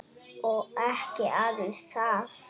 Og ekki aðeins það.